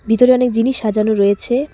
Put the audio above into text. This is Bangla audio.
ভিতরে অনেক জিনিস সাজানো রয়েছে।